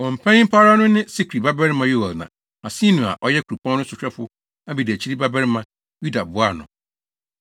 Wɔn panyin pa ara no ne Sikri babarima Yoel na Hasenua, a ɔyɛ kuropɔn no sohwɛfo abediakyiri babarima Yuda boaa no.